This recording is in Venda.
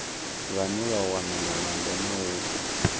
vhane vha wana malamba mauku